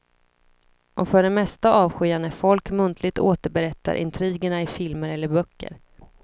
Och för det mesta avskyr jag när folk muntligt återberättar intrigerna i filmer eller böcker.